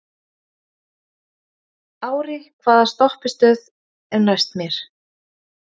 Ári, hvaða stoppistöð er næst mér?